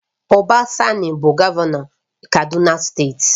Uba Sani bụ Gọvanọ Kano steeti